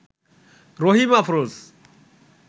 Rahim Afroz